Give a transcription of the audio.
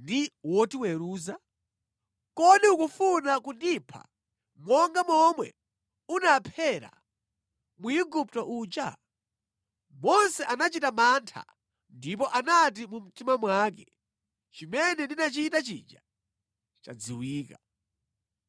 ndi wotiweruza? Kodi ukufuna kundipha monga momwe unaphera Mwigupto uja?” Mose anachita mantha ndipo anati mu mtima mwake, “Chimene ndinachita chija chadziwika.”